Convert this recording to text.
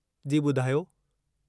जी ॿुधायो।